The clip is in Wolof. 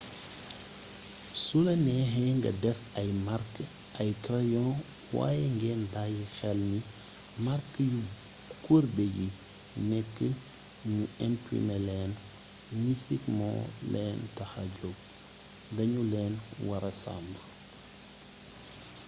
sula neexee nga def ay mark ay crayon waaye ngeen bàyyi xel ni màrk yu kurbe yi nekk ñu imprime leen misik moo leen taxa jog dañu leen wara sàmm